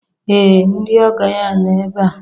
ee ndị ọgọ ya nọ ebe a